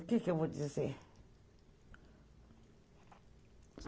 O que eu vou dizer?